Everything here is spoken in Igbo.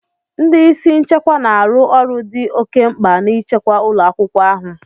Ndị isi nchekwa na-arụ ọrụ dị oke mkpa n'ichekwa ụlọ akwụkwọ ahụ.